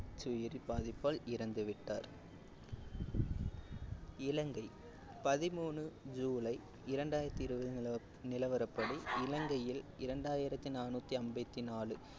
நச்சுயிரி பாதிப்பால் இறந்துவிட்டார் இலங்கை பதிமூணு ஜூலை இரண்டாயிரத்தி இருபதின் நில நிலவரப்படி இலங்கையில் இரண்டாயிரத்தி நானூத்தி ஐம்பத்தி நாலு